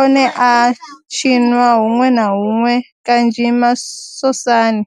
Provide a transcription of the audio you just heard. one a a tshiniwa hunwe na hunwe kanzhi masosani.